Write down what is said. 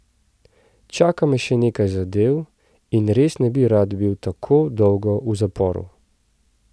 Čaka me še nekaj zadev in res ne bi rad bil tako dolgo v zaporu.